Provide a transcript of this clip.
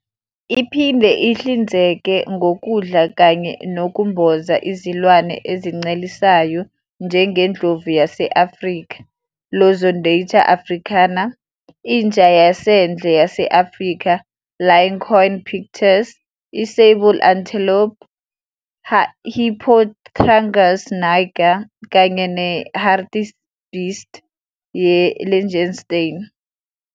Iphinde ihlinzeke ngokudla kanye nokumboza izilwane ezincelisayo njengendlovu yase-Afrika, "Loxodonta africana", inja yasendle yase-Afrika, "Lycaon pictus", i-sable antelope, "Hippotragus niger", kanye ne-hartebeest ye-Lichtenstein, "Sigmoceros lichtensteinii".